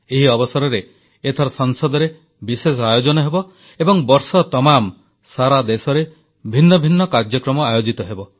ଏହି ଅବସରରେ ଏଥର ସଂସଦରେ ବିଶେଷ ଆୟୋଜନ ହେବ ଏବଂ ବର୍ଷତମାମ ସାରା ଦେଶରେ ଭିନ୍ନ ଭିନ୍ନ କାର୍ଯ୍ୟକ୍ରମ ଆୟୋଜିତ ହେବ